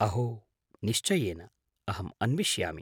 अहो! निश्चयेन! अहम् अन्विष्यामि।